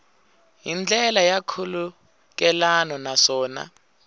hi ndlela ya nkhulukelano naswona